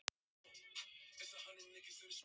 Sirra, hvað er í dagatalinu í dag?